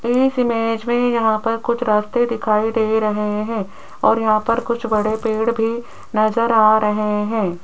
इस इमेज में यहां पर कुछ रास्ते दिखाई दे रहे हैं और यहां पर कुछ बड़े पेड़ भी नज़र आ रहे हैं।